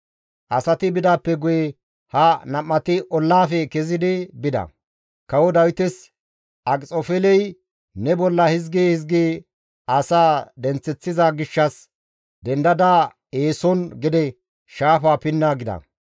Asati bidaappe guye ha nam7ati ollaafe kezidi bida; kawo Dawites, «Akxofeeley ne bolla hizgi hizgi asaa denththeththiza gishshas dendada eeson gede shaafa pinna» gida.